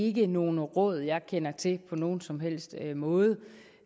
ikke nogle råd jeg kender til på nogen som helst måde